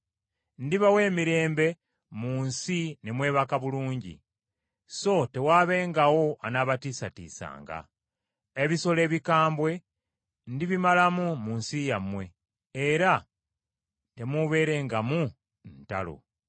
“Ndibawa emirembe mu nsi ne mwebaka bulungi, so tewaabengawo anaabatiisatiisanga. Ebisolo ebikambwe ndibimalamu mu nsi yammwe, era temuubeerengamu ntalo.